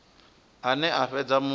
ane a fhedza a muthu